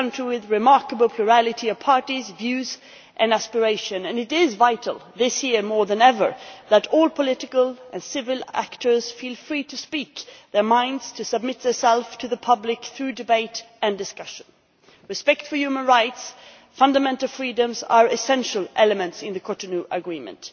is a country with a remarkable plurality of parties, views and aspirations, and it is vital this year more than ever that all political and civil actors feel free to speak their minds and to submit themselves to the public through debate and discussion. Respect for human rights and fundamental freedoms are essential elements in the Cotonou Agreement.